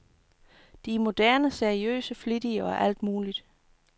De er modne, seriøse, flittige, og alt muligt.